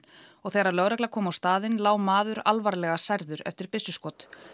og þegar lögregla kom á staðinn lá maður alvarlega særður eftir byssuskot